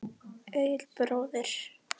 Egill bróðir.